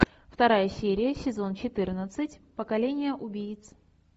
вторая серия сезон четырнадцать поколение убийц